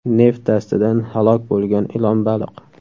Neft dastidan halok bo‘lgan ilonbaliq.